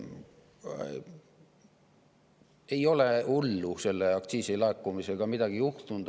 Ei ole midagi hullu selle aktsiisi laekumisega juhtunud.